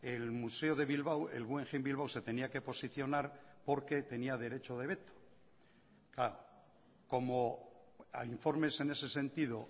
el museo de bilbao el guggenheim bilbao se tenía que posicionar porque tenía derecho de veto como hay informes en ese sentido